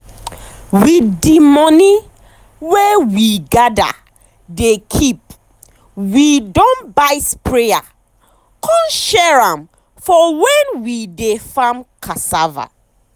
with de money wey we gather dey keepwe don buy sprayer con share am for when we dey farm cassava.